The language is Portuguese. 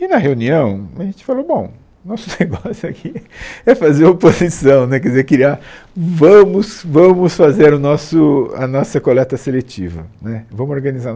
E na reunião a gente falou, bom, nosso negócio aqui é fazer oposição né, quer dizer, queria vamos vamos fazer o nosso... a nossa coleta seletiva né, vamos organizar.